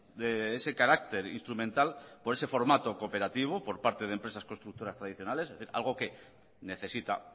de ese carácter instrumental por ese formato cooperativo por parte de empresas constructoras tradicionales algo que necesita